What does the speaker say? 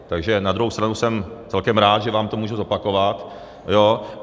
Takže na druhou stranu jsem celkem rád, že vám to můžu zopakovat.